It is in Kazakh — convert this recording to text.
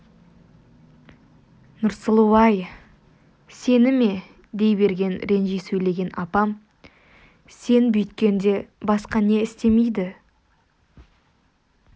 нұрсұлу-ай сені ме дей берген ренжи сөйлеген апам сен бүйткенде басқа не істемейді